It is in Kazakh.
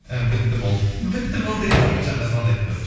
і бітті болды бітті болды иә мұхаммеджанға звондайды қазір